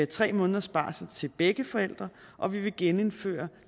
tre måneders barsel til begge forældre og vi vil genindføre